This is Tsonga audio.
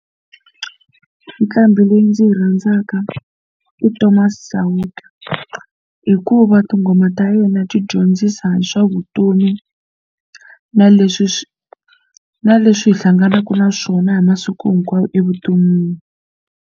Nqambhi leyi ndzi yi rhandzaka i Thomas Chauke hikuva tinghoma ta yena ti dyondzisa hi swa vutomi na leswi swi na leswi hi hlanganaka na swona hi masiku hinkwawo evuton'wini.